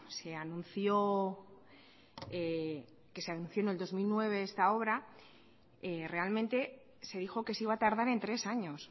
se anunció en el dos mil nueve esta obra realmente se dijo que se iba a tardar tres años